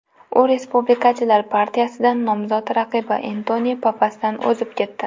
U respublikachilar partiyasidan nomzod raqibi Entoni Pappasdan o‘zib ketdi.